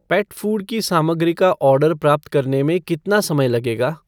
पेट food की सामग्री का ऑर्डर प्राप्त करने में कितना समय लगेगा?